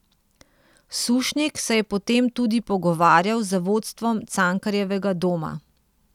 Sušnik se je potem tudi pogovarjal z vodstvom Cankarjevega doma.